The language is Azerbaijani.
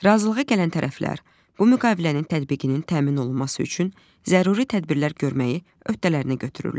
Razılığa gələn tərəflər, bu müqavilənin tətbiqinin təmin olunması üçün zəruri tədbirlər görməyi öhdələrinə götürürlər.